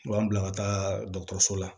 U b'an bila ka taa dɔkɔtɔrɔso la